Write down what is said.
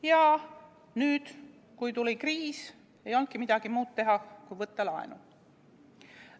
Ja nüüd, kui tuli kriis, ei olnudki midagi muud teha kui võtta laenu.